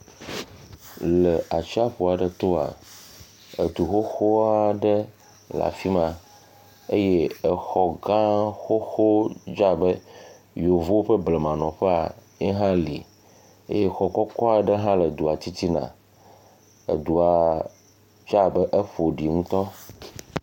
Le atsiaƒu aɖe toa, edu xoxoa aɖe le afi ma eye exɔ gã xoxo dze abe yevuwo ƒe blemanɔƒea, ye hã le, exɔ kɔkɔ aɖe hã le dua titina, edua dze abe eƒo ɖi ŋutɔ.